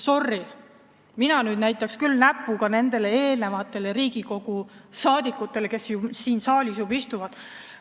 Sorry, mina nüüd näitaks küll näpuga Riigikogu liikmetele, kes siin saalis juba varem istusid.